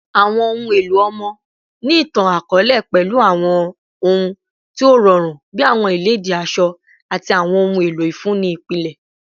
Awọn ohun elo ọmọ ni itan-akọọlẹ pẹlu awọn ohun ti o rọrun bi awọn iledìí asọ ati awọn ohun elo ifunni ipilẹ